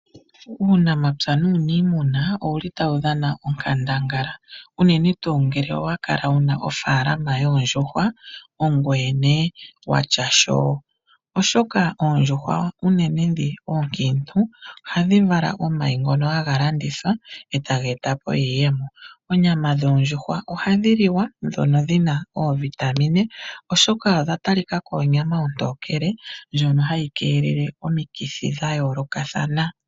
Uunamapya nuunimuna owuli tawu dhana onkandangala unene tuu ngele owa kala wuna ofaalama yoondjuhwa ogweye ne watya sho. Oshoka oondjuhwa unene ndhono oonkiintu ohadhi vala omayi taga landithwa etaga eta iiyemo. Onyama yondjuhwa ohayi liwa oyina oovitamine ndjono onyama ontokele nohayi keelele omikithi dhayoolokathana.